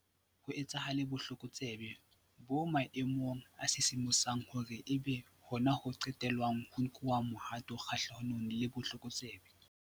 Leha ho le jwalo, badudi ba entse hantle ho supa hore ha ho a lokela hore ho etsahale botlokotsebe bo maemong a sisimosang hore e be hona ho qetellwang ho nkuwa mohato kgahlanong le botlokotsebe.